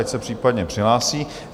Ať se případně přihlásí.